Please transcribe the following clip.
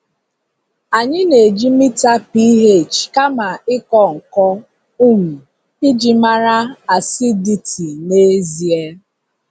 Anyị na-eji mita pH kama ịkọ nkọ um iji mara acidity n'ezie.